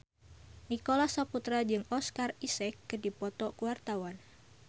Nicholas Saputra jeung Oscar Isaac keur dipoto ku wartawan